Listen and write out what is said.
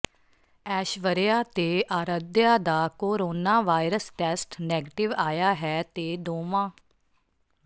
ਐਸ਼ਵਰਯਾ ਤੇ ਆਰਧਿਆ ਦਾ corona virus test negative ਆਇਆ ਹੈ ਤੇ ਦੋਵਾਂ